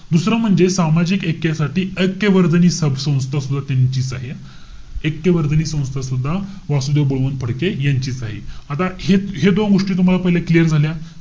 दुसरं म्हणजे, सामाजिक ऐक्यासाठी ऐक्यवर्धिनी संस्था सुद्धा त्यांचीच आहे. ऐक्यवर्धिनी संस्था सुद्धा वासुदेव बळवंत फडके यांचीच आहे. आता हे हे दोन गोष्टी तुम्हाला पहिले clear झाल्या?